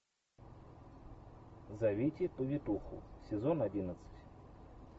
зовите повитуху сезон одиннадцать